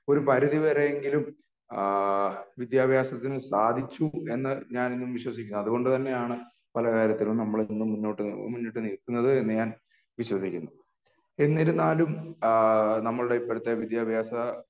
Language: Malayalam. ഒരു പരിധിവരെയെങ്കിലും ആഹ് വിദ്യാഭ്യാസത്തിന്ന് സാധിച്ചു എന്ന് ഞാൻ ഇന്നും വിശ്വസിക്കുന്നു അതുകൊണ്ട് തന്നെ ആണ് പല കാര്യത്തിലും നമ്മൾ ഇന്ന് മുന്നോട്ട് മുന്നിട്ട് നില്കുന്നത് എന്ന് ഞാൻ വിശ്വസിക്കുന്നു എന്നിരുന്നാലും അഹ് നമ്മളുടെ ഇപ്പോഴത്തെ വിദ്യാഭ്യാസ